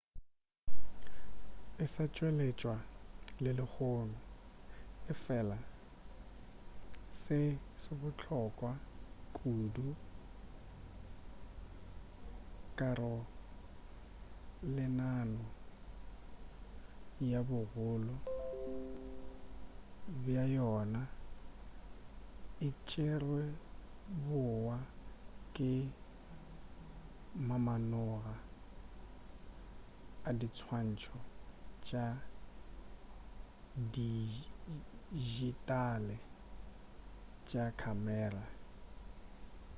e sa tšweletšwa le lehono efela se se bohlokwa kudu karolelano ya bogolo bja yona e tšerwe bohwa ke mamanoga a diswantšho tša dijitale tša khamera